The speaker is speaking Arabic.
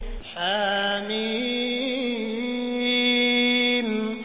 حم